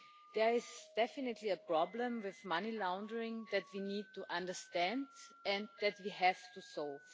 There is definitely a problem with money laundering that we need to understand and that we have to solve.